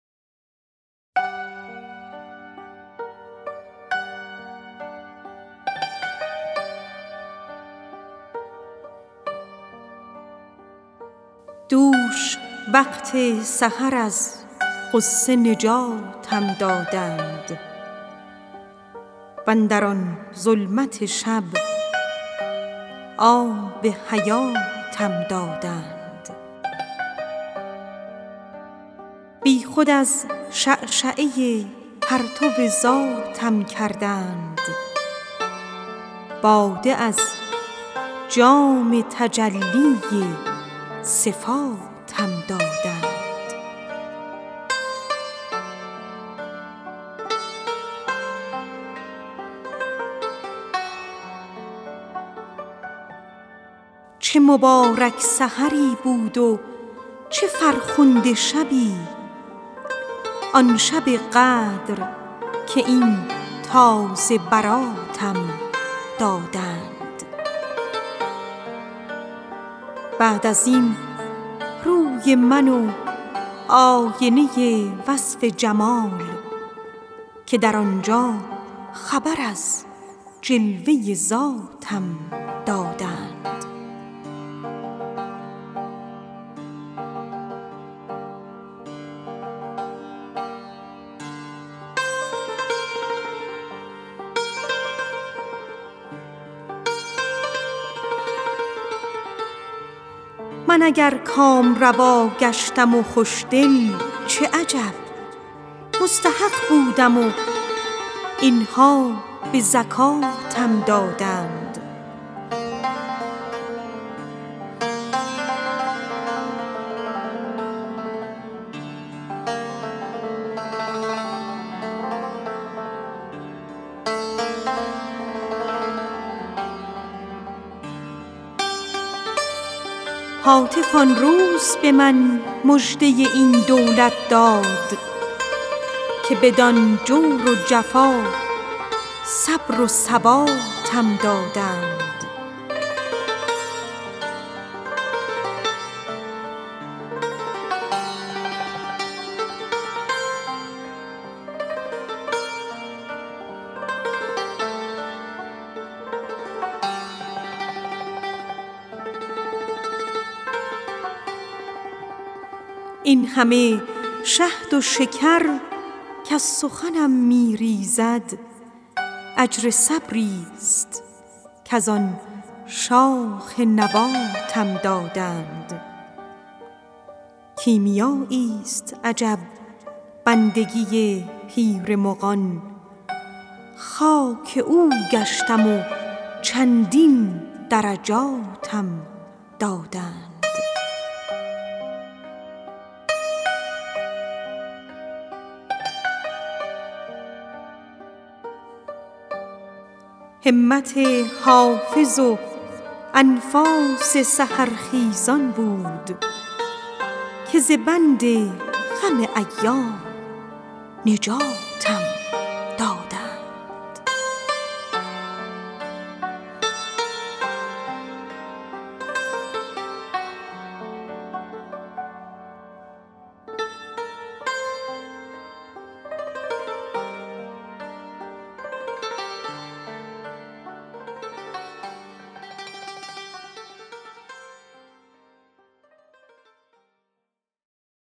دوش وقت سحر از غصه نجاتم دادند واندر آن ظلمت شب آب حیاتم دادند بی خود از شعشعه پرتو ذاتم کردند باده از جام تجلی صفاتم دادند چه مبارک سحری بود و چه فرخنده شبی آن شب قدر که این تازه براتم دادند بعد از این روی من و آینه وصف جمال که در آن جا خبر از جلوه ذاتم دادند من اگر کامروا گشتم و خوش دل چه عجب مستحق بودم و این ها به زکاتم دادند هاتف آن روز به من مژده این دولت داد که بدان جور و جفا صبر و ثباتم دادند این همه شهد و شکر کز سخنم می ریزد اجر صبری ست کز آن شاخ نباتم دادند همت حافظ و انفاس سحرخیزان بود که ز بند غم ایام نجاتم دادند